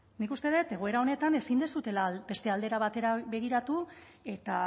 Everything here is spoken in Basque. nik uste dut egoera honetan ezin duzuela beste aldera batera begiratu eta